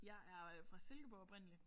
Jeg er fra Silkeborg oprindeligt